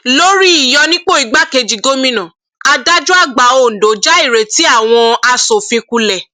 lórí ìyọnipo igbákejì gómìnà adájọàgbà ọǹdọ já ìrètí àwọn asòfin kulẹ